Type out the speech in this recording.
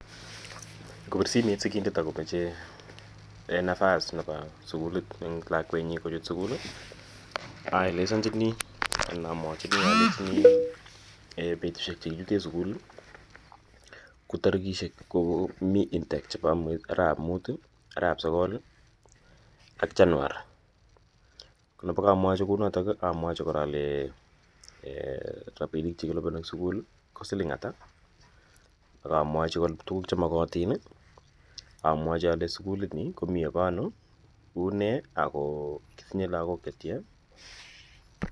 Ngopir simet sikindet ako mache nafas en lakwenyin kochut sukul i, aelesanchini anan amwachini alechini petishek che kiite sukul ko tarikishek anan mi intake arawet ap mut, arawet ap sokol ak chanuar. Ne kaamwachi kou notok amwachi rapinik che kilipani en sukul ko siling' ata, akamwachi kora tuguk che makatin i , amwachi alechi sukulini komi ye pa ano, une ako atinye lagok che tya.